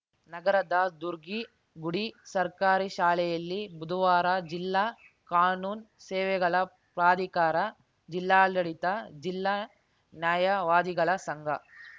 ನಗರದ ದುರ್ಗಿಗುಡಿ ಸರ್ಕಾರಿ ಶಾಲೆಯಲ್ಲಿ ಬುಧವಾರ ಜಿಲ್ಲಾ ಕಾನೂನು ಸೇವೆಗಳ ಪ್ರಾಧಿಕಾರ ಜಿಲ್ಲಾಡಳಿತ ಜಿಲ್ಲಾ ನ್ಯಾಯವಾದಿಗಳ ಸಂಘ